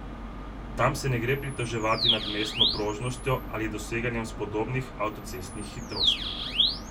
Tam se ne gre pritoževati nad mestno prožnostjo ali doseganjem spodobnih avtocestnih hitrosti.